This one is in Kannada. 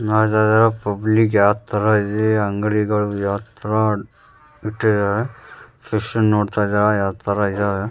ನೋಡ್ತಾ ಇದೀರ ಪಬ್ಲಿಕ್ ಯಾವ ತರ ಇದೆ ಅಂಗಡಿಗಳು ಯಾವ ತರ ಇಟ್ಟಿದಾರೆ ಫಿಶ್ ಅನ್ನು ನೋಡ್ತಾ ಇದೀರ ಯಾವ್ ತರ ಇದಾವೆ.